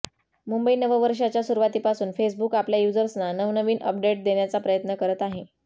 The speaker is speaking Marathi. मुंबई नववर्षाच्या सुरुवातीपासून फेसबुक आपल्या युजर्सना नवनवीन अपडेट देण्याचा प्रयत्न करत आहे